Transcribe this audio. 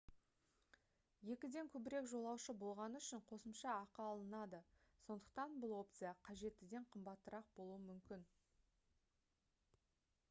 2-ден көбірек жолаушы болғаны үшін қосымша ақы алынады сондықтан бұл опция қажеттіден қымбатырақ болуы мүмкін